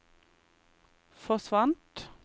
forsvant